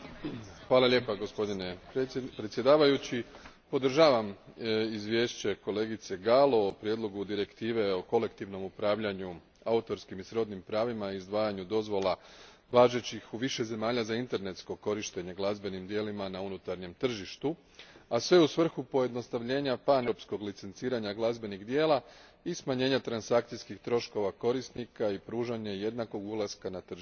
Gospodine predsjedniče, podržavam izvješće kolegice Gallo o prijedlogu Direktive o kolektivnom upravljanju autorskim i srodnim pravima i izdvajanju dozvola važećih u više zemalja za internetsko korištenje glazbenim djelima na unutarnjem tržištu, a sve u svrhu paneuropskog licenciranja glazbenih djela i smanjenja transakcijskih troškova korisnika i pružanje jednakog ulaska na tržište svima.